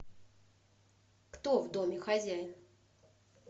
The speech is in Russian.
кто в доме хозяин